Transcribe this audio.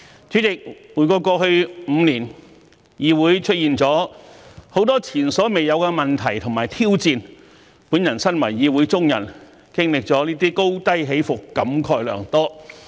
主席，回顧過去5年，議會出現了許多前所未有的問題及挑戰，我身為議會中人，經歷這些高低起伏，感慨良多。